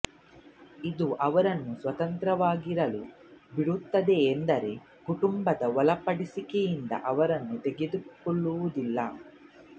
ಇದು ಅವರನ್ನು ಸ್ವತಂತ್ರವಾಗಿರಲು ಬಿಡುತ್ತದೆ ಆದರೆ ಕುಟುಂಬದ ಒಳಪಡಿಸಿಕೆಯಿಂದ ಅವರನ್ನು ತೆಗೆದಾಕುವದಿಲ್ಲ